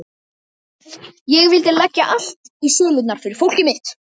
Ég vildi leggja allt í sölurnar fyrir fólkið mitt.